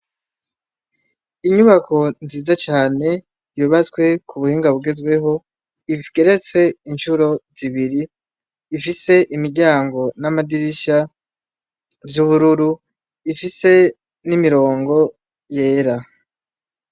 Inyubako nziza cane yubatswe ku buhinga bugezweho igeretse incuro zibiri, ifise imiryango n'amadirisha vy'ubururu ifise n'imirongo yera.